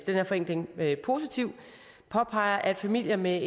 her forenkling positiv påpeger at familier med